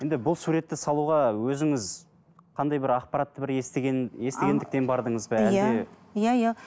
енді бұл суретті салуға өзіңіз қандай бір ақпаратты бір естіген естігендіктен бардыңыз ба әлде иә иә иә